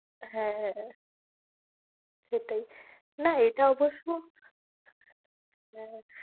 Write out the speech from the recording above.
হ্যাঁ, সেটাই না এটা অবশ্য হ্যাঁ